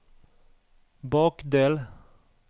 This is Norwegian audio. bakdel